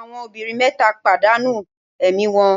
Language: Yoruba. Àwọn obìnrin mẹ́ta padà nù ẹ̀mí wọn